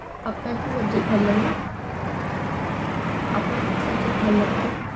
আপনার কি subject ভালো লাগে? আপনার কি subject ভালো লাগতো?